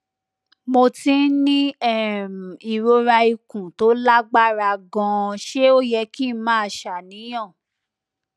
mo ti ń ní um ìrora ikun tó lágbára ganan ṣé ó yẹ kí n máa ṣàníyàn